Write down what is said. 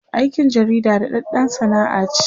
aikin jarida daɗaɗɗan Sana'a ce